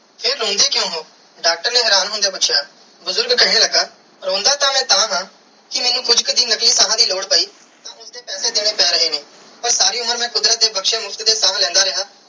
ਫਿਰ ਰੋਂਦੇ ਕ੍ਯੂਂ ਹੋ ਡਾਕਟਰ ਨੇ ਹੈਰਾਨ ਹੋਂਦਿਆ ਪੂਛਿਆ ਬੁਜ਼ਰਗ ਕੇਹਨ ਲਗਾ ਰੋਂਦਾ ਤੇ ਮੈਂ ਤਹਾ ਕੇ ਮੈਨੂੰ ਕੁਛ ਕਿ ਦਿਨ ਨਕਲੀ ਸਾਹ ਦੀ ਲੋੜ ਪੈ ਤੇ ਮੈਨੂੰ ਉਸਦੇ ਪੈਸੇ ਦੇਣੇ ਪੈ ਰਹੇ ਨੇ ਪਾਰ ਸਾਰੀ ਉਮਰ ਮੈਂ ਕੁਦਰਤ ਦੀ ਬਖਸ਼ੀ ਮੁਫ਼ਤ ਦੀਆ ਸਾਹ ਲੈਂਦਾ ਰਿਆ.